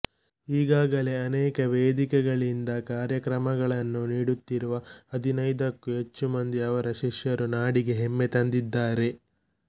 ಈಗಾಗಲೇ ಅನೇಕ ವೇದಿಕೆಗಳಿಂದ ಕಾರ್ಯಕ್ರಮಗಳನ್ನು ನೀಡುತ್ತಿರುವ ಹದಿನೈದಕ್ಕೂ ಹೆಚ್ಚು ಮಂದಿ ಅವರ ಶಿಷ್ಯರು ನಾಡಿಗೆ ಹೆಮ್ಮೆ ತಂದಿದ್ದಾರೆ